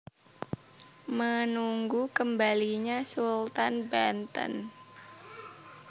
Menunggu Kembalinya Sultan Banten